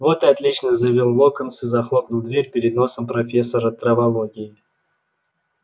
вот и отлично заявил локонс и захлопнул дверь перед носом профессора травологии